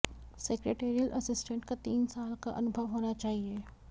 secretarial assistance का तीन साल का अनुभव होना चाहिए